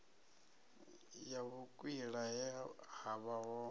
ya vhukwila he havha ho